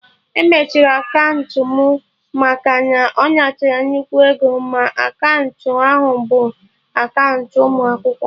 E mechiri akaụntụ mụ maka na ọ natara nnukwu ego, ma akaụntụ ahụ bụ akaụntụ ụmụ akwụkwọ